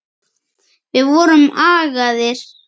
Við vorum agaðir.